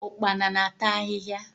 Ụkpana na-ata ahịhịa.